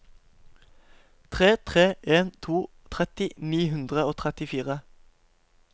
tre tre en to tretti ni hundre og trettifire